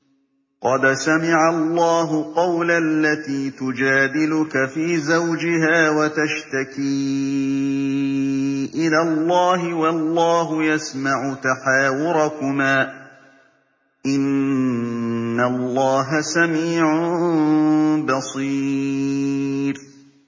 قَدْ سَمِعَ اللَّهُ قَوْلَ الَّتِي تُجَادِلُكَ فِي زَوْجِهَا وَتَشْتَكِي إِلَى اللَّهِ وَاللَّهُ يَسْمَعُ تَحَاوُرَكُمَا ۚ إِنَّ اللَّهَ سَمِيعٌ بَصِيرٌ